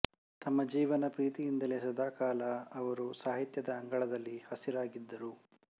ತಮ್ಮ ಜೀವನ ಪ್ರೀತಿಯಿಂದಲೇ ಸದಾಕಾಲ ಅವರು ಸಾಹಿತ್ಯದ ಅಂಗಳದಲ್ಲಿ ಹಸಿರಾಗಿದ್ದಾರೆ